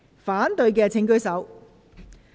反對的請舉手。